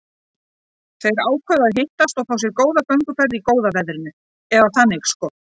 Þau ákváðu að hittast og fá sér gönguferð í góða veðrinu, eða þannig sko.